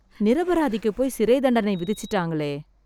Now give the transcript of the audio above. நிரபராதிக்குப் போய் சிறைத் தண்டனை விதிச்சிட்டாங்களே